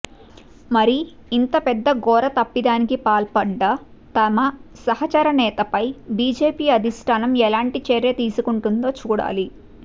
మరి ఇంత పెద్ద ఘోర తప్పిదానికి పాల్పడ్డ తమ సహచర నేతపై బీజేపీ అధిష్టానం ఎలాంటి చర్య తీసుకుంటుందో చూడాలి